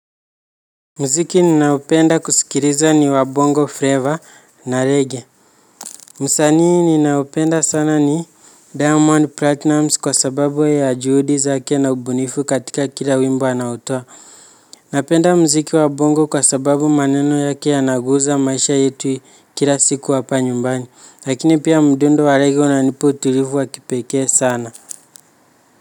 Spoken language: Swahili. Muziki ninaopenda kusikiliza ni wa bongo flavor na reggae. Msanii ninaopenda sana ni diamond platinum kwa sababu ya juhudi zake na ubunifu katika kila wimbo anaotoa. Napenda muziki wa bongo kwa sababu maneno yake yanaguza maisha yetu kila siku hapa nyumbani lakini pia mdundo wa reggae unanipa utulivu wa kipekee sana.